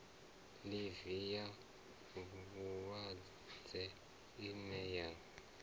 ḽivi ya vhulwadze ine ya